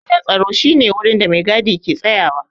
Wajen tsaro shi ne wurin da maigadi ke tsayawa.